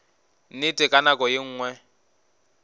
nnete ka nako ye nngwe